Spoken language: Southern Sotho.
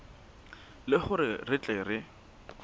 le hore re tle re